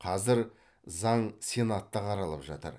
қазір заң сенатта қаралып жатыр